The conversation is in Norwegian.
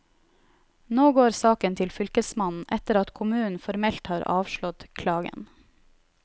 Nå går saken til fylkesmannen, etter at kommunen formelt har avslått klagen.